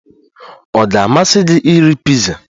Ọ ga-amasị gị iri piza?